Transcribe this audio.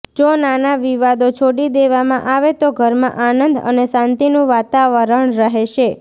જો નાના વિવાદો છોડી દેવામાં આવે તો ઘરમાં આનંદ અને શાંતિનું વાતાવરણ રહેશે